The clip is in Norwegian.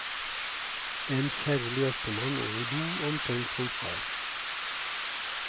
En kjærlig ektemann og en god, omtenksom far.